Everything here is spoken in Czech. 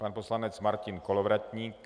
Pan poslanec Martin Kolovratník.